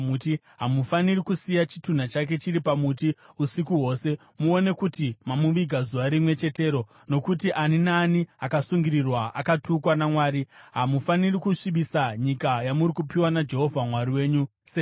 hamufaniri kusiya chitunha chake chiri pamuti usiku hwose. Muone kuti mamuviga zuva rimwe chetero, nokuti ani naani akasungirirwa akatukwa naMwari. Hamufaniri kusvibisa nyika yamuri kupiwa naJehovha Mwari wenyu senhaka.